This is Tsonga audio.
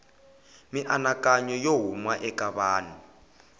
mianakanyo yo huma eka vanhu